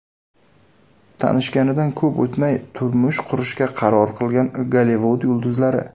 Tanishganidan ko‘p o‘tmay turmush qurishga qaror qilgan Gollivud yulduzlari .